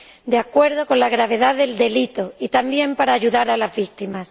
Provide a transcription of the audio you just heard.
de acuerdo con la gravedad del delito, y también a ayudar a las víctimas.